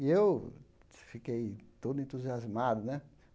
E eu fiquei todo entusiasmado, né?